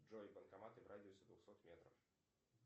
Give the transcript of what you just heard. джой банкоматы в радиусе двухсот метров